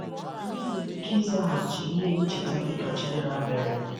Anyị nwere ike ịzaghachi ihe ncheta dị ka Chidera mere?